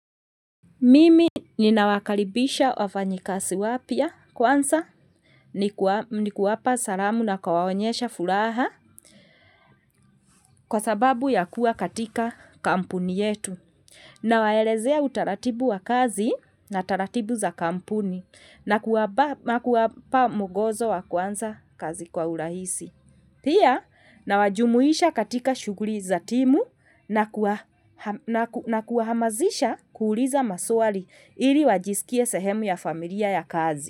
Mimi ninawakaribisha wafanyakazi wapya kwanza nikiwapa salamu na kuwaonyesha furaha kwa sababu ya kuwa katika kampuni yetu. Nawaelezea utaratibu wa kazi na taratibu za kampuni na kuwapa mwongozo wa kuanza kazi kwa urahisi. Pia nawajumuisha katika shughuli za timu na kuwahamazisha kuuliza maswali ili wajisikie sehemu ya familia ya kazi.